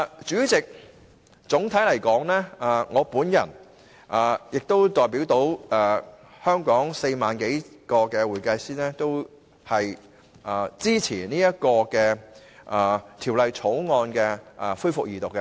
主席，總的來說，我和所代表的全港4萬多名會計師均支持《條例草案》恢復二讀。